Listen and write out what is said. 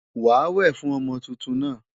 Wàá wè fún ọmọ tuntun náà!